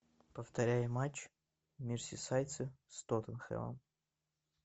повторяй матч мерсисайдцы с тоттенхэмом